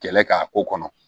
Kɛlɛ k'a ko kɔnɔ